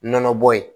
Nɔnɔbɔ ye